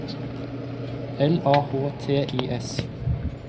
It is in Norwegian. L A H T I S